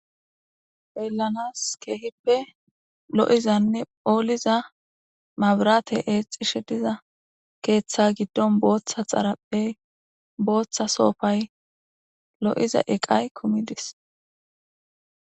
Phellanas keehippe lo'izanne ooliza mabrate eexishe diza keeththa giddon booththa xarapphey booththa soofay lo'iza eqay kumidis.